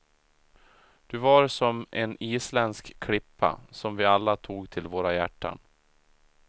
Du var som en isländsk klippa som vi alla tog till våra hjärtan.